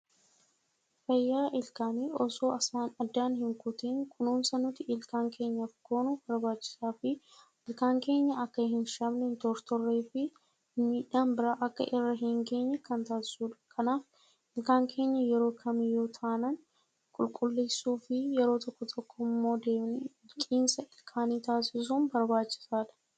Fayyaa ilkaanii osoo addaan hin kutuun kunuunsa nuti ilkaan keenyaaf goonu barbaachisaa fi ilkaan keenya akka hin shamne, hin tortorree fi miidhaan biraa akka irra hin geenye kan taasisuudha. Kanaaf ilkaan keenya yeroo kamiyyuu taanaan qulqulleessuu fi yeroo tokko tokkoo immoo deemnee miicinsa ilkaanii taasisuun barbaachisaadha.